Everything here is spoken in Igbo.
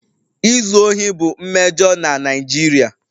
Izu ohi bụ mmejọ na Naijiria.